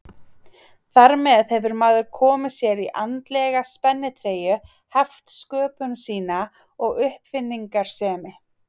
Þar með hefur maður komið sér í andlega spennitreyju, heft sköpun sína og uppáfinningasemi.